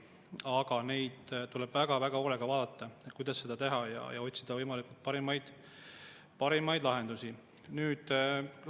Aga tuleb väga hoolega vaadata, kuidas seda teha, ja otsida parimaid lahendusi.